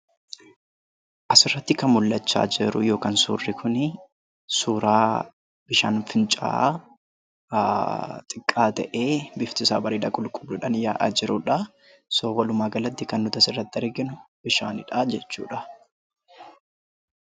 Asirratti kan mul'achaa jiru yookaan suurri kunii suuraa bishaan fincaa'aa xiqqaa ta'ee biftisaa bareedaa qulqulluudhaan yaa'aa jiru dhaa. Kanaafuu, walumaagalatti, kan nuti asirratti arginu bishaani dhaa jechuu dha.